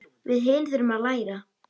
Við hin þurfum að læra.